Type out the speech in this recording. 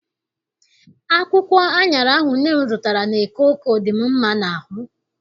Akwụkwọ aṅara ahụ nne m zụtara n'eke Oko dị m mma n'ahụ.